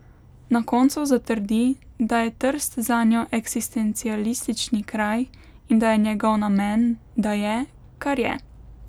Na koncu zatrdi, da je Trst zanjo eksistencialistični kraj in da je njegov namen, da je, kar je.